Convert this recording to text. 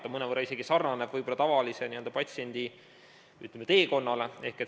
See mõnevõrra sarnaneb võib-olla tavalise patsiendi teekonnaga.